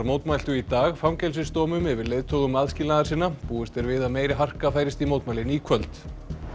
mótmæltu í dag fangelsisdómum yfir leiðtogum aðskilnaðarsinna búist er við að meiri harka færist í mótmælin í kvöld